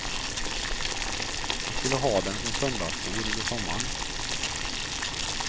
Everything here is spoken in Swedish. Hon skulle ha dem som söndagsskor under sommaren.